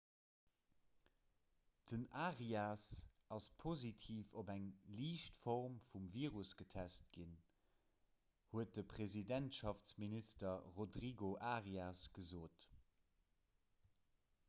den arias ass positiv op eng liicht form vum virus getest ginn huet de presidentschaftsminister rodrigo arias gesot